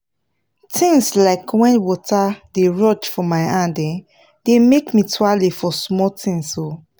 things like wen water dey rush for my hand um dey make me tuale for small things um